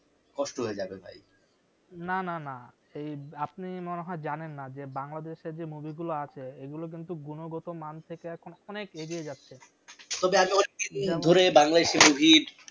কষ্ট হয়ে যাবে ভাই না না না এই আপনি মনে হয় জানেন না যে বাংলাদেশ এর যে movie গুলো আছে এগুলো কিন্তু গুণগত মান থেকে এখন অনেক এগিয়ে যাচ্ছে